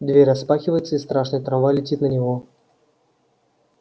дверь распахивается и страшный трамвай летит на него